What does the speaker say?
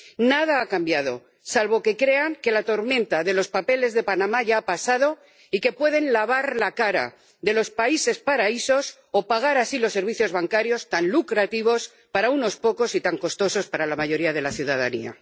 Nada ha cambiado, salvo que crean que la tormenta de los papeles de Panamá ya ha pasado y que pueden lavar la cara de los países paraísos o pagar así los servicios bancarios tan lucrativos para unos pocos y tan costosos para la mayoría de la ciudadanía.